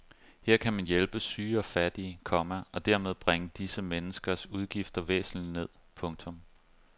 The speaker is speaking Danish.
Her kan man hjælpe syge og fattige, komma og dermed bringe disse menneskers udgifter væsentligt ned. punktum